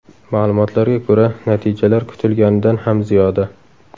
Ma’lumotlarga ko‘ra, natijalar kutilganidan ham ziyoda.